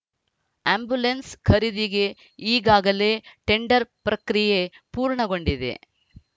ambulance ಖರೀದಿಗೆ ಈಗಾಗಲೇ tender ಪ್ರಕ್ರಿಯೆ ಪೂರ್ಣಗೊಂಡಿದೆ